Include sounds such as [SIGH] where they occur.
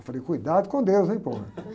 Eu falei, cuidado com deus, hein, pô. [LAUGHS]